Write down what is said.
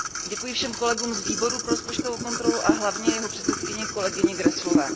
Děkuji všem kolegům z Výboru pro rozpočtovou kontrolu a hlavně jeho předsedkyni kolegyni Gräßleové.